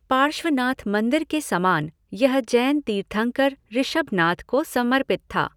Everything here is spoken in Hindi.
पार्श्वनाथ मंदिर के समान, यह जैन तीर्थंकर ऋषभनाथ को समर्पित था।